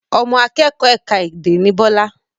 Ọmọ akẹ́kọ̀ ẹ̀ka èdè ni Bọlá